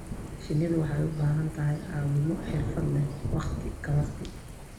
Shinnidu waxay u baahan tahay caawimo xirfad leh waqti ka waqti.